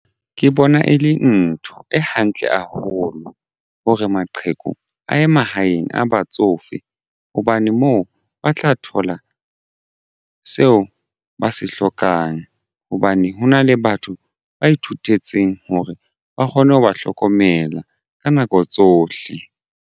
Ke bona e le ntho e hantle haholo hore maqheku a ye mahaeng a batsofe. Hobane moo ba tla thola seo ba se hlokang hobane hona le batho ba ithutetseng hore ba kgone ho ba hlokomela ka nako tsohle.